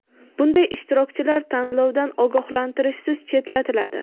bunday ishtirokchilar tanlovdan ogohlantirishsiz chetlatiladi.